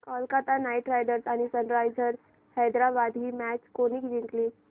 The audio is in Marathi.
कोलकता नाइट रायडर्स आणि सनरायझर्स हैदराबाद ही मॅच कोणी जिंकली